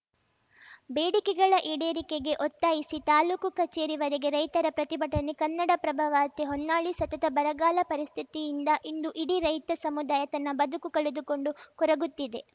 ಬೇಡಿಕೆಗಳ ಈಡೇರಿಕೆಗೆ ಒತ್ತಾಯಿಸಿ ತಾಲೂಕು ಕಚೇರಿವರೆಗೆ ರೈತರ ಪ್ರತಿಭಟನೆ ಕನ್ನಡಪ್ರಭ ವಾರ್ತೆ ಹೊನ್ನಾಳಿ ಸತತ ಬರಗಾಲ ಪರಿಸ್ಥಿತಿಯಿಂದ ಇಂದು ಇಡೀ ರೈತ ಸಮುದಾಯ ತನ್ನ ಬದುಕು ಕಳೆದುಕೊಂಡು ಕೊರಗುತ್ತಿದೆ